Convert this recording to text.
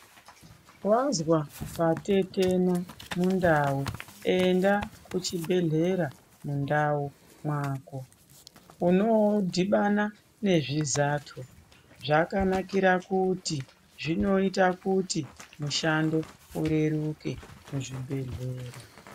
Wazwa patetena mundau, enda kuchibhedhlera mundau mwako, unodhibana nezvizathu zvakanakira kuti zvinoita kuti mushando ureruke muzvibhedhlera.